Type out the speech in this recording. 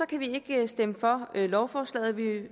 kan vi ikke stemme for lovforslaget vi